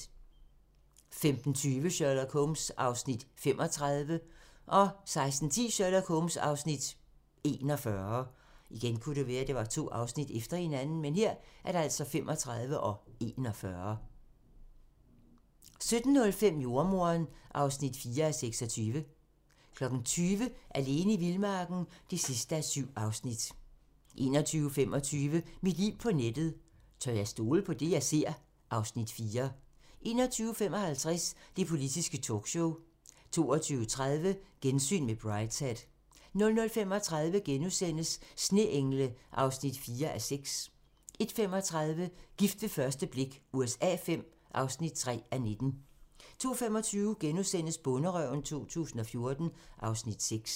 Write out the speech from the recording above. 15:20: Sherlock Holmes (35:45) 16:10: Sherlock Holmes (41:45) 17:05: Jordemoderen (4:26) 20:00: Alene i vildmarken (7:7) 21:25: Mit liv på nettet: Tør jeg stole på det, jeg ser? (Afs. 4) 21:55: Det politiske talkshow 22:30: Gensyn med Brideshead 00:35: Sneengle (4:6)* 01:35: Gift ved første blik USA V (3:19) 02:25: Bonderøven 2014 (Afs. 6)*